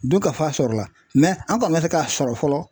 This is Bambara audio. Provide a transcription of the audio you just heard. Dunkafa sɔrɔla mɛ an kɔni ma se k'a sɔrɔ fɔlɔ